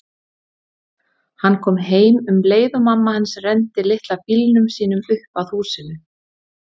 Hann kom heim um leið og mamma hans renndi litla bílnum sínum upp að húsinu.